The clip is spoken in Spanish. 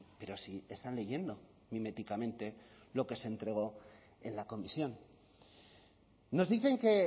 pero si están leyendo miméticamente lo que se entregó en la comisión nos dicen que